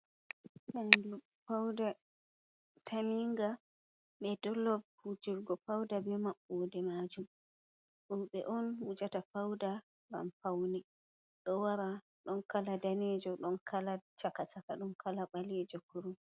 Fandu fauda taminga be dollop wujirgo fauda be mabbude majum roɓe wujata fauda ngam paune do wara don kala danejo ɗon kala chaka chaka don kala ɓalejo kurum.